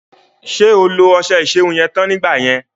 Ṣé o lo ọṣẹ ìṣerun yẹn tán nígbà yẹn?